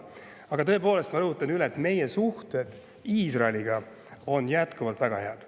Aga tõepoolest, ma rõhutan üle, et meie suhted Iisraeliga on jätkuvalt väga head.